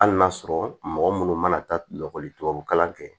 Hali n'a sɔrɔ mɔgɔ munnu mana taa lakɔli tubabu kalan kɛ